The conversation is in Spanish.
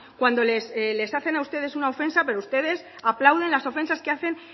cuando les hacen a ustedes una ofensa pero ustedes aplauden las ofensas que hacen